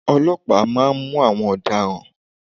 Ọlọ́pàá má a nmú àwọn ọ̀daràn